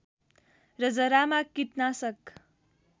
र जरामा कीटनाशक